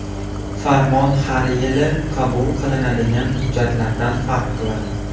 Farmon har yili qabul qilinadigan hujjatlardan farq qiladi.